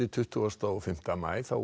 tuttugasta og fimmta maí